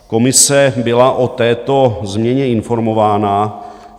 Komise byla o této změně informována.